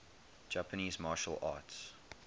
japanese martial arts